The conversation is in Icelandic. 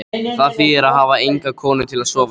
Það þýðir að hafa enga konu til að sofa hjá.